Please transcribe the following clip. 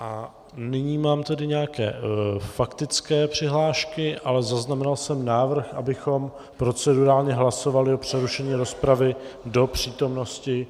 A nyní mám tady nějaké faktické přihlášky, ale zaznamenal jsem návrh, abychom procedurálně hlasovali o přerušení rozpravy do přítomnosti